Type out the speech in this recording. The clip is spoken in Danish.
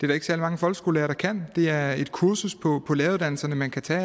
der ikke særlig mange folkeskolelærere der kan det er et kursus på på læreruddannelsen man kan tage